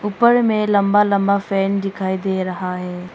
पर में लंबा लंबा फैन दिखाई दे रहा है।